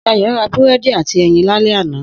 Sayọ̀ ra búrẹ́dì áti ẹyin lálẹ́ àná.